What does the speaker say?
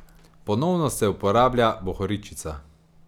Ponovno se je uporabljala bohoričica.